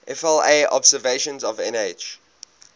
vla observations of nh